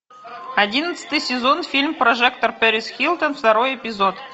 одиннадцатый сезон фильм прожектор пэрис хилтон второй эпизод